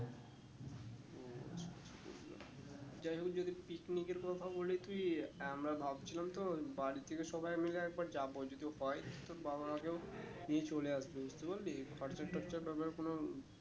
যাই হোক যদি picnic এর কথা বলি তুই আমরা ভাবছিলাম তো বাড়ি থেকে সবাই মিলে একবার যাবো যদি হয়ে তোর বাবা মাকেও নিয়ে চলে আসবি বুঝতে পারলি খরচা টর্চার ব্যাপার কোনো